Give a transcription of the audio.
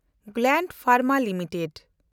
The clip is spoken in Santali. ᱜᱞᱟᱱᱰ ᱯᱷᱮᱱᱰᱢᱟ ᱞᱤᱢᱤᱴᱮᱰ